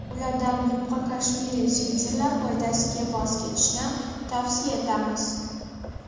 Ulardan yupqa kashmiri sviterlar foydasiga voz kechishni tavsiya etamiz.